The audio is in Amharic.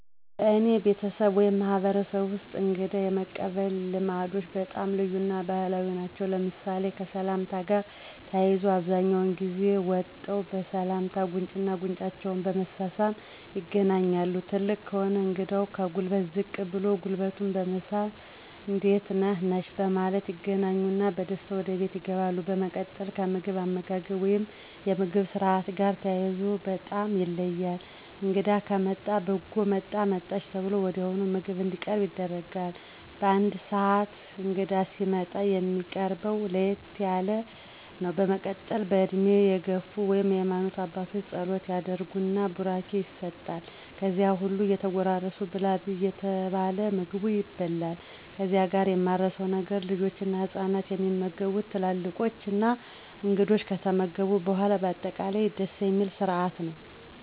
በአኔ ቤተስብ ወይም ማህበረሰብ ወስጥ የእንግዳ የመቀበል ልማዶች በጣም ልዩ እና ባህላዊ ናቸው ለምሳሌ፦ ከሰላምታ ጋር ተያይዞ አብዛኛውን ጊዜ ወጠው በሰላምታ ጉንጩና ጉንጫቸውን በመሳሳም ይገናኛሉ ትልቅ ከሆነ እንግዳው ከጉልበቱ ዝቅ ብሎ ጉልበቱን በመሳም እንዴት ነህ/ነሽ በማለት ይገናኙና በደስታ ወደ ቤት ይገባሉ። በመቀጥል ከምግብ አመጋገብ ወይም የምግብ ስርአት ጋር ተያይዞ በጣም ይለያል እንግዳ ከመጣ በጎ መጣህ/መጣሽ ተብሎ ወዲያውኑ ምግብ እንዲቀርብ ይደረጋል በአንድ ስህን እንግዳ ሲመጣ የሚቀርብው ለየት ያለ ነው በመቀጠል በእድሜ የግፍ ወይም የሃማኖት አባት ፀሎት ያደረግን ቡራኬ ይሰጥል ከዚያም ሁሉም እየተጎራረሱ ብላ/ብይ እየተባለ ምግቡ ይበላል ከዚህ ጋር ማረሳው ነገር ልጆችና ህፃናት የሚመገቡት ትላልቆች / እንግዳው ከተመገቡ በኋላ ነው በአጠቃላይ ደስ ስርአት ነው።